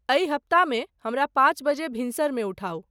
अहि हप्तामेँ हमरा पाँच बजे भिनसर मे उठाउ।